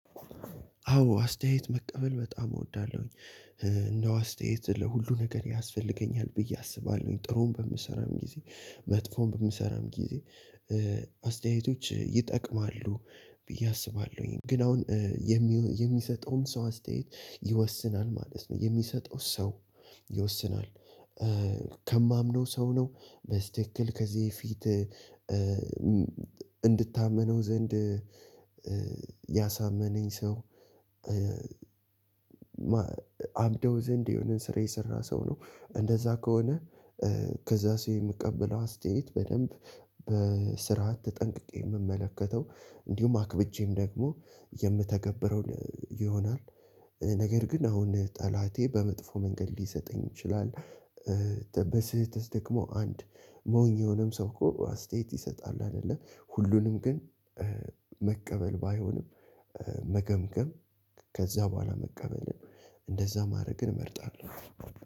አዎ አስተያየት መቀበል በጣም እወዳለሁኝ። እንደው አስተያየት ለሁሉ ነገር ያስፈልገኛል ብዬ አስባለሁኝ። ጥሩም በምሰራም ጊዜ መጥፎም በምሰራም ጊዜ አስተያየቶች ይጠቅማሉ ብዬ አስባለሁኝ። ግን አሁን የሚሰጠውን ሰው አስተያየት ይወስናል ማለት ነው የሚሰጠው ሰው ይወስናል። ከማምነው ሰው ነው። በስትክክል ከዚህ ፊት እንድታመነው ዘንድ ያሳመነኝ ሰው አብደው ዘንድ የሆነን ስራ የሰራ ሰው ነው። እንደዛ ከሆነ ከዛ ሰው የምቀበለው አስተያየት በደንብ በስርዓት ተጠንቅቄ የምመለከተው እንዲሁም አክብጄም ደግሞ የምተገብረው ይሆናል። ነገር ግን አሁን ጠላቴ በመጥፎ መንገድ ሊሰጠኝ ይችላል። በስህተት ደግሞ አንድ ሞኝ የሆነም ሰው እኮ አስተያየት ይሰጣል አይደለ? ሁሉንም ግን መቀበል ባይሆንም መገምገም ከዛ በኋላ መቀበል እንደዛ ማድረግን እመርጣለሁ።